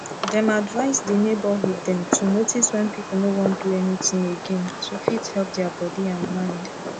dem advise the neighborhood dem to notice wen people no wan do anything again to fit help dia body and mind